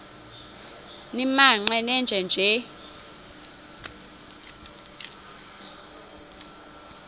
nimaqe nenje nje